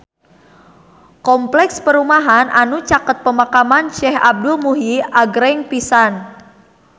Kompleks perumahan anu caket Pemakaman Syekh Abdul Muhyi agreng pisan